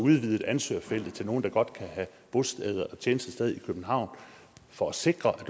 udvidet ansøgerfeltet til nogle der godt kan have tjenestested i københavn for at sikre at